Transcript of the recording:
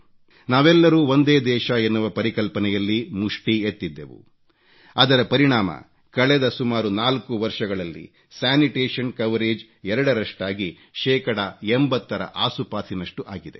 ನಾವೆಲ್ಲರೂ ಒಂದೇ ದೇಶ ಎನ್ನುವ ಪರಿಕಲ್ಪನೆಯಲ್ಲಿ ಮುಷ್ಠಿ ಎತ್ತಿದ್ದೆವು ಅದರ ಪರಿಣಾಮ ಕಳೆದ ಸುಮಾರು 4 ವರ್ಷಗಳಲ್ಲಿ ಸ್ಯಾನಿಟೇಷನ್ ಕವರೇಜ್ ಎರಡರಷ್ಟಾಗಿ ಶೇಕಡಾ 80 ರ ಆಸುಪಾಸಿನಷ್ಟು ಆಗಿದೆ